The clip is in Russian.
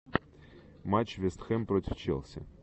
матч вест хэм против челси